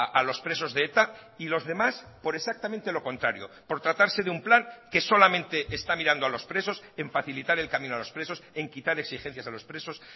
a los presos de eta y los demás por exactamente lo contrario por tratarse de un plan que solamente está mirando a los presos en facilitar el camino a los presos en quitar exigencias a los presos